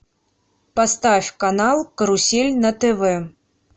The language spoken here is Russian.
поставь канал карусель на тв